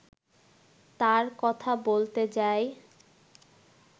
তার কথা বলতে যাই